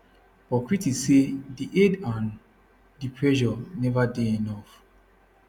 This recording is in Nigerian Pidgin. but critics say di aid and di pressure neva dey enough